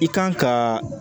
I kan ka